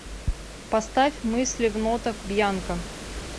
поставь мысли в нотах бьянка